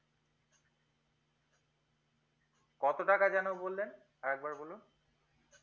কত টাকা যেন বললেন আর একবার বলুন